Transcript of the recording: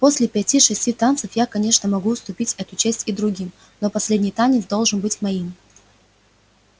после пяти шести танцев я конечно могу уступить эту честь и другим но последний танец должен быть моим